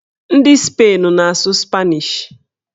Ndị Spain na-asụ spanish